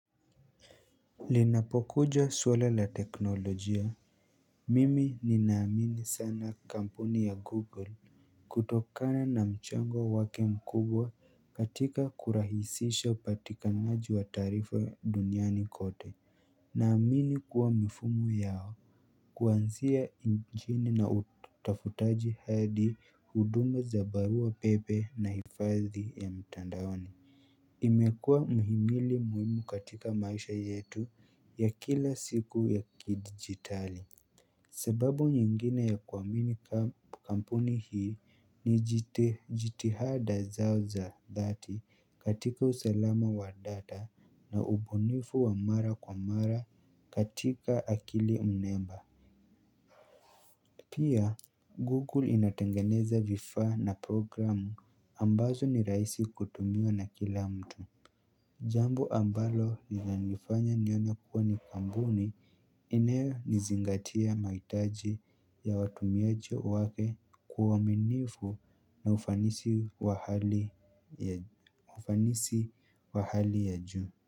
Linapokuja swala la teknolojia mimi ninaamini sana kampuni ya google kutokana na mchango wake mkubwa katika kurahisisha upatikanaji wa taarifa duniani kote. Naamini kuwa mifumo yao kuanzia injini na utafutaji hadi huduma za barua pepe na hifadhi ya mtandaoni imekuwa muhimili muhimu katika maisha yetu ya kila siku ya kidijitali. Sababu nyingine ya kuamini kampuni hii, ni jitihada zao za dhati katika usalama wa data na ubunifu wa mara kwa mara katika akili mnemba. Pia Google inatengeneza vifaa na program ambazo ni rahisi kutumiwa na kila mtu. Jambo ambalo linanifanya nione kuwa ni kampuni inayonizingatia mahitaji ya watumiaje wake kwa uaminifu na ufanisi wa hali ya, ufanisi wa hali ya juu.